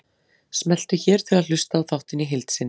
Smelltu hér til að hlusta á þáttinn í heild sinni